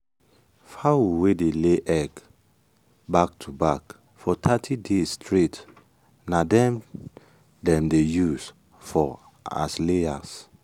fowl wey dey lay egg back to back for thirty days straight na dem dem dey use for as layers.